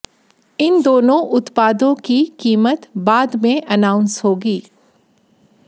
इन दोनों उत्पादों की कीमत बाद में एनाउंस होगी